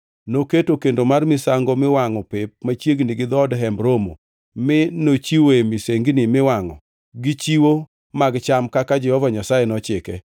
Noketo kendo mar misango miwangʼo pep machiegni gi dhood Hemb Romo mi nochiwoe misengni miwangʼo gi chiwo mag cham kaka Jehova Nyasaye nochike.